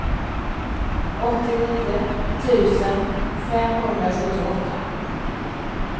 åttionio tusen femhundrasjuttioåtta